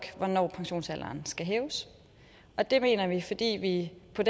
om at pensionsalderen skal hæves og det mener vi fordi vi på